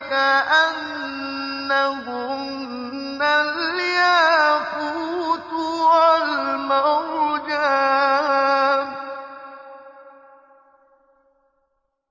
كَأَنَّهُنَّ الْيَاقُوتُ وَالْمَرْجَانُ